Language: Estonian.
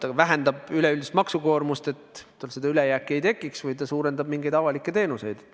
Ta vähendab üleüldist maksukoormust, et tal seda ülejääki ei tekiks, või ta suurendab mingeid avalikke teenuseid.